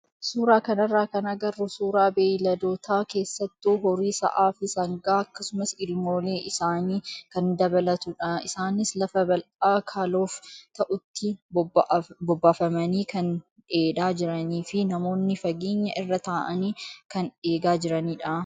Suuraa kanarraa kan agarru suuraa beeyladoota keessattuu horii sa'aa fi sangaa akkasumas ilmoolee isaanii kan dabalatudha. Isaanis lafa bal'aa kaloof ta'utti bobbaafamanii kan dheedaa jiranii fi namoonni fageenya irra taa'anii kan eegaa jiranidha.